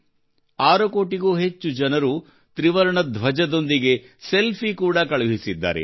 6 ಕೋಟಿಗೂ ಹೆಚ್ಚು ಜನರು ತ್ರಿವರ್ಣ ಧ್ವಜದೊಂದಿಗೆ ಸೆಲ್ಫಿ ಕೂಡ ಕಳುಹಿಸಿದ್ದಾರೆ